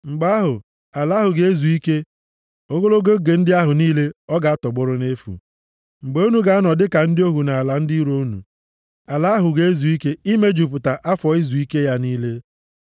Mgbe ahụ, ala ahụ ga-ezu ike, ogologo oge ndị ahụ niile ọ ga-atọgbọrọ nʼefu. Mgbe unu ga-anọ dịka ndị ohu nʼala ndị iro unu. Ala ahụ ga-ezu ike, imejupụta afọ izuike ya niile.